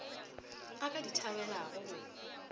a ka di thabelago go